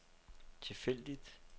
tilfældigt